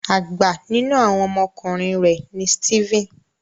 Àgbà nínú àwọn ọmọ ọkùnrin rẹ ní Steven.